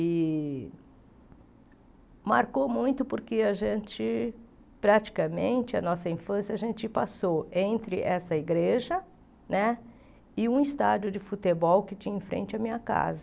E marcou muito porque a gente, praticamente, a nossa infância, a gente passou entre essa igreja né e um estádio de futebol que tinha em frente à minha casa.